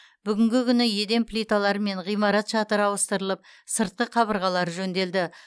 бүгінгі күні еден плиталары мен ғимарат шатыры ауыстырылып сыртқы қабырғалары жөнделді